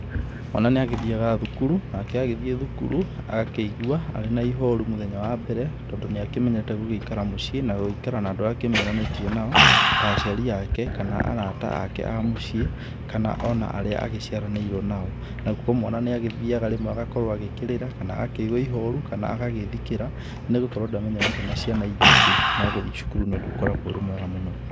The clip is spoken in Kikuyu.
Mwana nĩĩ agĩthiaga thukuru, nake agĩthĩe thukuru, agakĩigua arĩ na ihoru mũthenya wa mbere, tondũ nĩĩ akĩmenyerete gũgĩikara mũcié, na gũgĩikara na andũ arĩa akĩmenyeranĩtie nao, ta aciari ake kana arata ake a mũcie, kana ona arĩa agĩcĩaranĩĩrio nao. Nagũo mwana níĩ agĩthiaga rĩmwe agagĩkorwo akĩrĩra, kana akíigua ihorũ, kana agagĩthikĩra, nĩgũkorwo ndamenyeranĩĩte na ciana iria ingĩ. No gũthie cukuru níĩ ũndũ ũkoragwo ũrĩ mwega mũno.